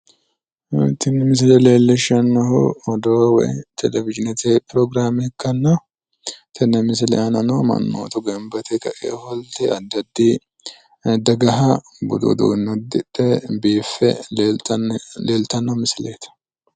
tini misile leellishshannonkehu odoo woyi televizhinete pirograame ikkitanna tenne misile aanano mannootu gamba yite kae ofolte addi addi daganniha budu uduunne udidhe biiffe leeltanno misileeti.